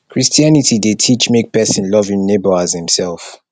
christianity de teach make persin love im neighbour as imself